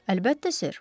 Əlbəttə sir.